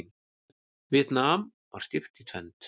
Víetnam var skipt í tvennt.